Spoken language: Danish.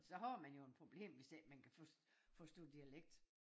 Så har man jo et problem hvis ikke man kan for forstå dialekt